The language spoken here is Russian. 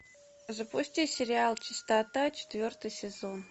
запусти сериал чистота четвертый сезон